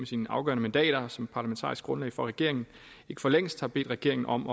sine afgørende mandater som parlamentarisk grundlag for regeringen ikke for længst har bedt regeringen om